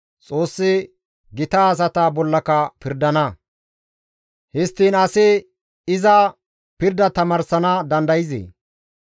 «Xoossi gita asata bollaka pirdana; histtiin asi iza pirda tamaarsana dandayzee?